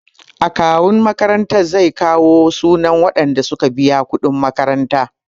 Akawun makarantar zai kawo sunan waɗanda suka biya kuɗin makaranta.